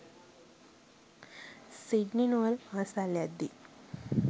Sydney නුවර පාසල් යද්දී